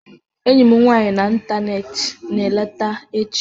Enyi m nwanyị n'ịntanetị na-eleta echi.